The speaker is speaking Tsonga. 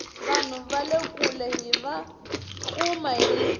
vanhu vale kule hiva kuma hi riqingho